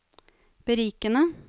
berikende